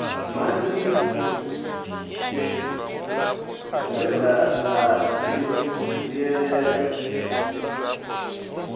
manzhi e ra a dzhielela